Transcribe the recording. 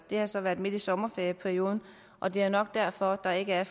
har så været midt i sommerferieperioden og det er nok derfor at der ikke er